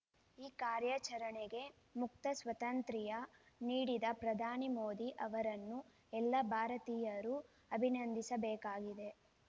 ಈ ಕಾರ್ಯಾಚರಣೆಗೆ ಮುಕ್ತ ಸ್ವಾತಂತ್ರ್ಯ ನೀಡಿದ ಪ್ರಧಾನಿ ಮೋದಿ ಅವರನ್ನು ಎಲ್ಲ ಭಾರತೀಯರು ಅಭಿನಂದಿಸಬೇಕಾಗಿದೆ